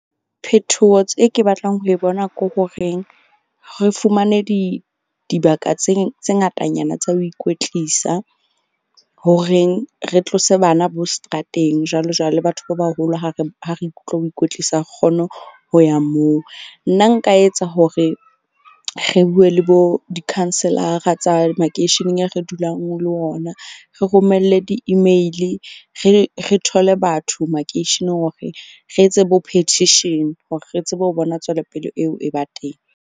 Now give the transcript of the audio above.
Phethoho tse ke batlang ho e bona ke horeng re fumane dibaka tse ngatanyana tsa ho ikwetlisa horeng re tlose bana bo seterateng jwalo jwalo le batho ba baholo ha re ikutlwa ho ikwetlisa re kgone ho ya moo. Nna nka etsa hore re bue le bo di-councilor-ra tsa makeisheneng ya re dulang ho ona. Re romelle di-email. Re thole batho makeisheneng hore re etse bo-petition hore re tsebe ho bona tswelopele eo e ba teng.